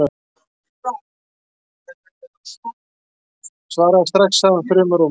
Svaraðu strax, sagði hann þrumurómi.